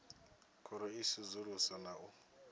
khoro i sedzuluswa na u